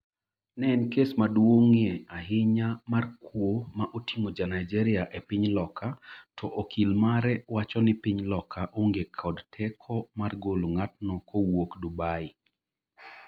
En kes maduong’ie ahinya mar kuo ma oting’o jaNigeria e piny Loka to okil mare wacho ni piny Loka onge kod teko mar golo ng’atno kowuok Dubai.